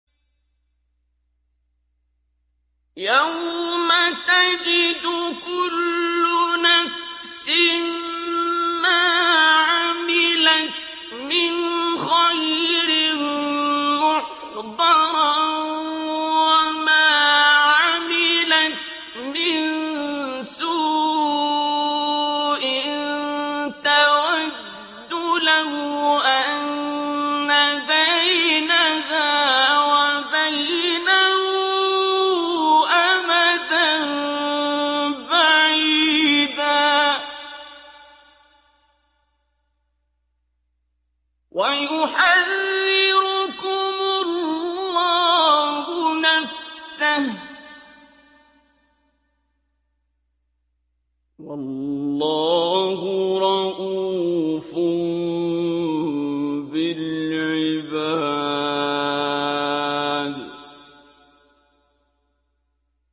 يَوْمَ تَجِدُ كُلُّ نَفْسٍ مَّا عَمِلَتْ مِنْ خَيْرٍ مُّحْضَرًا وَمَا عَمِلَتْ مِن سُوءٍ تَوَدُّ لَوْ أَنَّ بَيْنَهَا وَبَيْنَهُ أَمَدًا بَعِيدًا ۗ وَيُحَذِّرُكُمُ اللَّهُ نَفْسَهُ ۗ وَاللَّهُ رَءُوفٌ بِالْعِبَادِ